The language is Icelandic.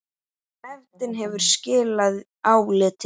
Nefndin hefur skilað áliti.